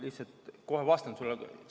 Jaa, ma kohe vastan sulle ...